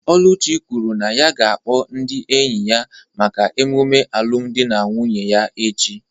Oluchi kwuru na ya ga-akpọ ndị enyi ya maka emume alụmdi na nwunye ya echi